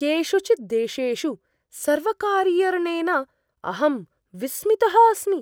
केषुचित् देशेषु सर्वकारीयर्णेन अहं विस्मितः अस्मि।